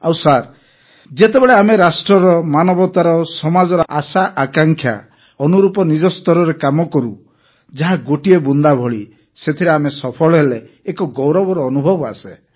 ଆଉ ସାର୍ ଯେତେବେଳେ ଆମେ ରାଷ୍ଟ୍ରର ମାନବତାର ସମାଜର ଆଶାଆକାଂକ୍ଷା ଅନୁରୂପ ନିଜ ସ୍ତରରେ କାମ କରୁ ଯାହା ଗୋଟିଏ ବୁନ୍ଦା ଭଳି ସେଥିରେ ଆମେ ସଫଳ ହେଲେ ଏକ ଗୌରବର ଅନୁଭବ ଆସେ